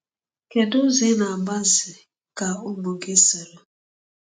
Kedu ụdị ụzọ ị na-agbazị ka ụmụ gị soro?